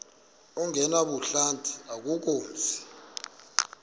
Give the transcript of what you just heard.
ongenabuhlanti akukho mzi